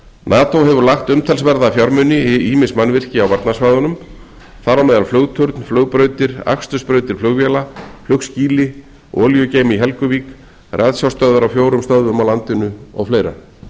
nato hefur lagt umtalsverða fjármuni í ýmis mannvirki á varnarsvæðunum án flugturn flugbrautir akstursbrautir flugvéla flugskýli olíugeyma í helguvík ratsjárstöðvar á fjórum stöðum á landinu og fleira